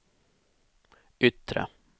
yttre